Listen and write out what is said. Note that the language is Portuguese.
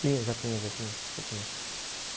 Tinha, já tinha, já tinha, já tinha.